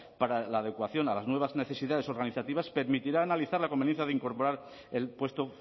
para la adecuación a las nuevas necesidades organizativas permitirá analizar la conveniencia de incorporar el puesto